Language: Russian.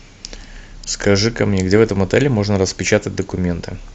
скажи ка мне где в этом отеле можно распечатать документы